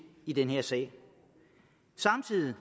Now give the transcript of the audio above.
i den her sag samtidig